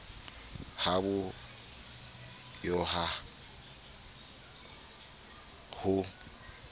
ha bo yo ha ho